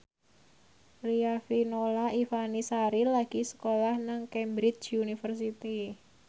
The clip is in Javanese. Riafinola Ifani Sari lagi sekolah nang Cambridge University